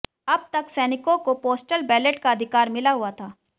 अब तक सैनिकों को पोस्टल बैलेट का अधिकार मिला हुआ था